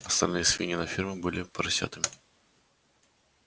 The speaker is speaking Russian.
остальные свиньи на ферме были ещё поросятами